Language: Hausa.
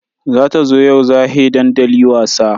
Za ta zo yau za he dandali wasa.